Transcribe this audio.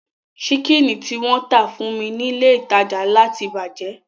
Ṣíkìnì tí wọ́n tà fún mi ní ilé ìtajà ńlá ti bàjẹ́